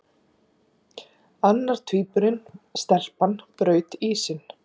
Annar tvíburinn- stelpan- braut ísinn.